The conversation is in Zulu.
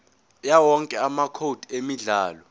yawowonke amacode emidlalo